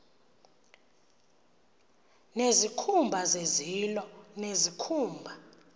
nezikhumba zezilo nezikhumba